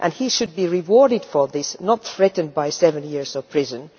He should be rewarded for this, not threatened with seven years in prison.